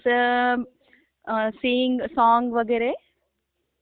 आणि जस sing song वैगेरे